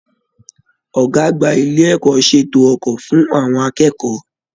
Ọgá àgbà ilé ẹ̀kọ́ ṣètò ọkọ fún àwọn akẹ́kọ̀ọ́.